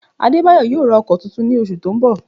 Adébáyọ̀ yóò ra ọkọ tuntun ní oṣù tó ń bọ̀